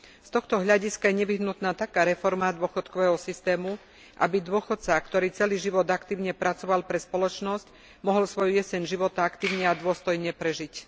Z tohto hľadiska je nevyhnutná taká reforma dôchodkového systému, aby dôchodca, ktorý celý život aktívne pracoval pre spoločnosť, mohol svoju jeseň života aktívne a dôstojne prežiť.